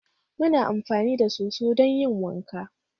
Muna amfani da soso don yin wanka